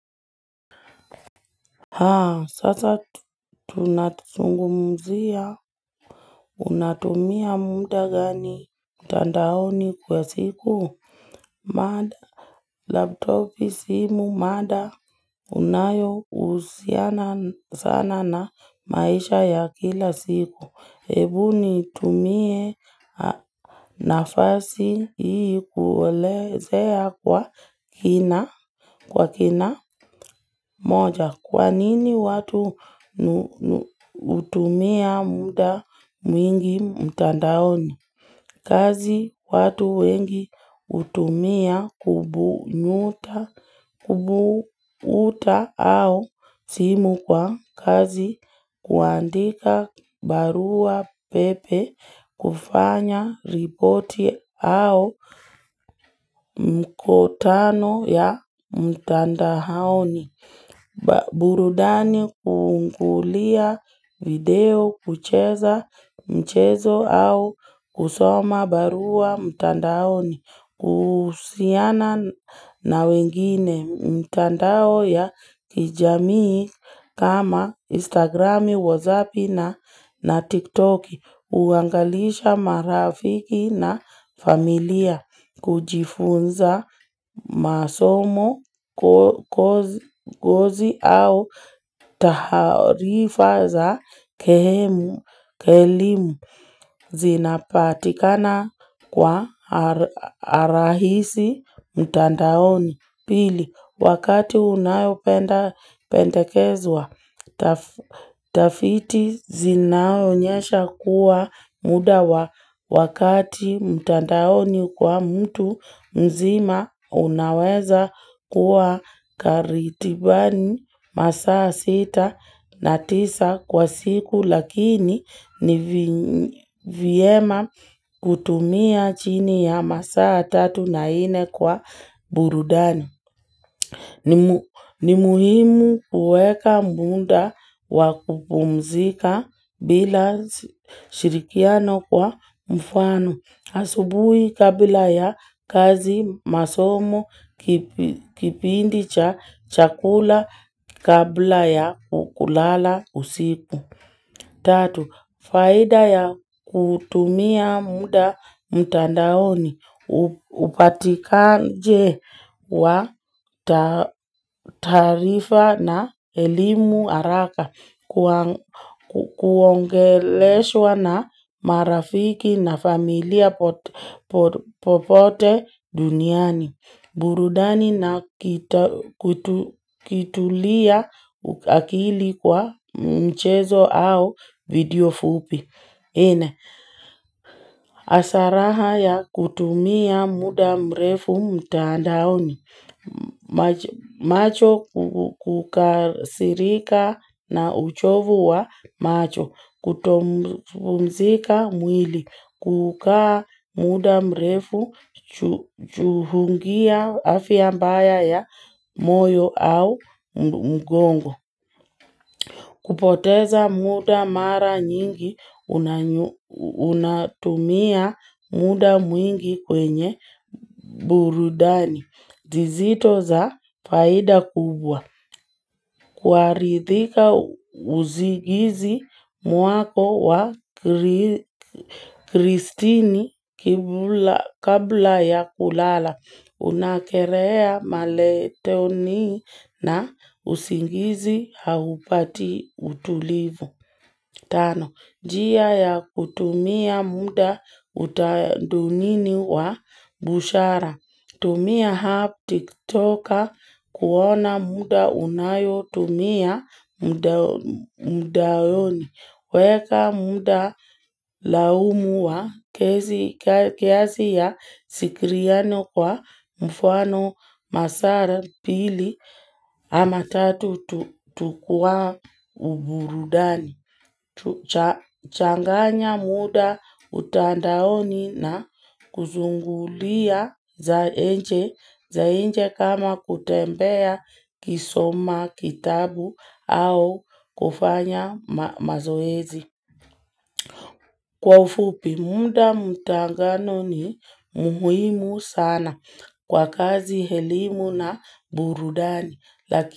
Haa, sasa tunatisungumzia, unatumia munda gani mtandaoni kwa siku, mada laptopi simu, mada unayousiana sana na maisha ya kila siku. Hebu nitumie nafasi hii kuelezea kwa kina moja. Kwa nini watu hutumia muda mwingi mtandaoni? Kazi watu wengi hutumia kubuuta au simu kwa kazi kuandika barua pepe kufanya ripoti au mkutano ya mtandaoni. Burudani kukulia video, kucheza mchezo au kusoma barua mtandaoni, kuhusiana na wengine mtandao ya kijamii kama instagrami, whatsappi na tiktoki. Uangalisha marafiki na familia kujifunza masomo kozi au taharifa za kehemu kelimu zinapatikana kwa arahisi mtandaoni. Pili, wakati unayopendekezwa tafiti zinaonyesha kuwa muda wa wakati mtandaoni kwa mtu mzima unaweza kuwa karitibani masaa sita na tisa kwa siku. Lakini ni vyema kutumia chini ya masaa tatu na nne kwa burudani. Ni muhimu kueka munda wa kupumzika bila shirikiano kwa mfano. Asubui kabla ya kazi masomo kipindi cha chakula kabla ya kulala usiku. Tatu, faida ya kutumia muda mtandaoni, upatikaje wa taarifa na elimu araka, kuongeleshwa na marafiki na familia popote duniani. Burudani na kitulia akili kwa mchezo au video fupi. Ine, asaraha ya kutumia muda mrefu mtandaoni. Macho kukasirika na uchovu wa macho. Kutopumzika mwili. Kukaa muda mrefu chuhungia afia mbaya ya moyo au mgongo. Kupoteza muda mara nyingi unatumia muda mwingi kwenye burudani. Dizito za faida kubwa. Kwaridhika uzigizi mwako wa kristini kabla ya kulala. Unakerea maletoni na usingizi haupati utulivu. Tano, jia ya kutumia muda utadunini wa bushara, tumia haptik toka kuona muda unayotumia mudayoni, weka muda laumu wa kezi ya sikiriano kwa mfwano masara pili ama tatu tukuwa uburudani. Tuchanganya muda utandaoni na kuzungulia za enje kama kutembea kisoma kitabu au kufanya mazoezi. Kwa ufupi, muda mutangano ni muhimu sana kwa kazi helimu na burudani.